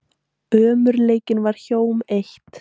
Ömurleikinn varð hjóm eitt.